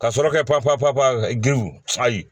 Ka sɔrɔ kɛ pan pan pan pan